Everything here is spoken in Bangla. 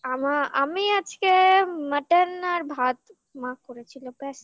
আমি আজকে mutton আর ভাত মা করেছিল ব্যাস